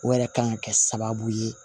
O yɛrɛ kan ka kɛ sababu ye